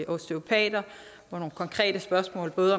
osteopater og nogle konkrete spørgsmål både